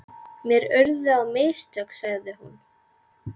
Mér urðu á mistök, sagði hún.